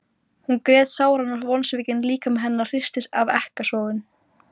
Hún grét sáran og vonsvikinn líkami hennar hristist af ekkasogum.